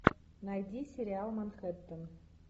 найди сериал манхэттен